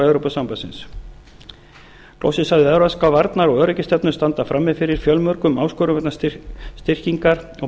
evrópusambandsins loksins sagði hann evrópska varnar og öryggisstefnu standa frammi fyrir fjölmörgum áskorunum vegna styrkingar og